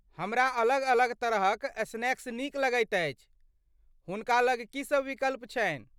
हमरा अलग अलग तरहक स्नैक्स नीक लगैत अछि, हुनका लग की सभ विकल्प छनि ?